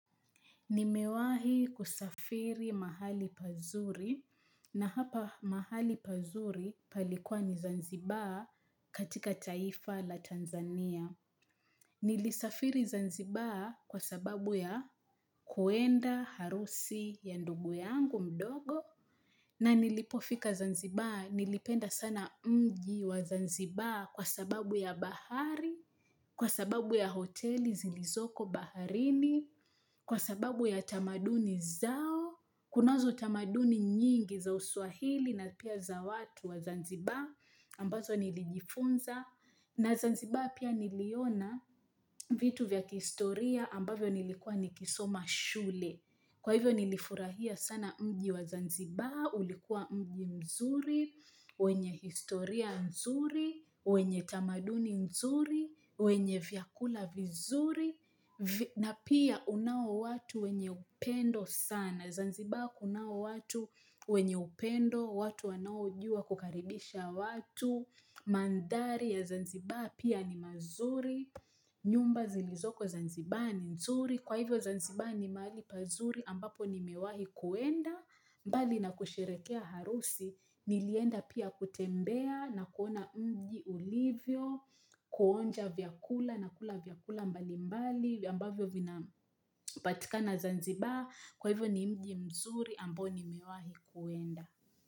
Nimewahi kusafiri mahali pazuri na hapa mahali pazuri palikuwa ni Zanzibar katika taifa la Tanzania. Nilisafiri Zanzibar kwa sababu ya kuenda harusi ya ndugu yangu mdogo. Na nilipofika Zanzibar nilipenda sana mji wa Zanzibar kwa sababu ya bahari, kwa sababu ya hoteli zilizoko baharini, kwa sababu ya tamaduni zao, kunazo tamaduni nyingi za uswahili na pia za watu wa Zanzibar ambazo nilijifunza na Zanzibar pia niliona vitu vya kistoria ambavyo nilikuwa nikisoma shule kwa hivyo nilifurahia sana mji wa Zanzibar, ulikuwa mji mzuri, wenye historia nzuri, wenye tamaduni nzuri wenye vyakula vizuri na pia unao watu wenye upendo sana Zanzibar kunao watu wenye upendo watu wanao jua kukaribisha watu Mandari ya zanzibar pia ni mazuri nyumba zilizoko zanzibar ni nzuri Kwa hivyo zanzibaa ni mali pazuri ambapo nimewahi kuenda mbali na kusherekea harusi Nilienda pia kutembea na kuona unji ulivyo kuonja vyakula na kula vyakula mbali mbali ambavyo vina patikana Zanzibar kwa hivyo ni mji mzuri ambo nimewahi kuenda.